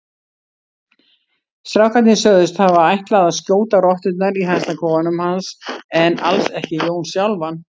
Strákarnir sögðust hafa ætlað að skjóta rotturnar í hænsnakofanum hans en alls ekki Jón sjálfan.